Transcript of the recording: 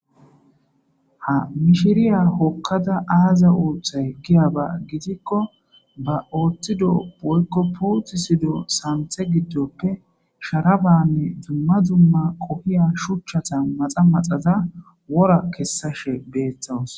ha mishiriya hokkada aaza uoththay kiyaba gidikko ba ooththido boykko puoti sido santhe giddoppe sharabanne dzumma dzumma qohiya shuchchata maxa maxaza wora kessashe beeththawus